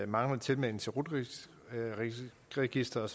manglende tilmelding til rut registeret